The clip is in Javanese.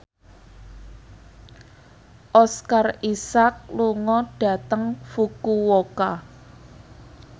Oscar Isaac lunga dhateng Fukuoka